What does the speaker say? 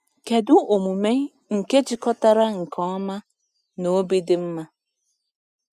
Kedu omume nke jikọtara nke ọma na obi dị mma?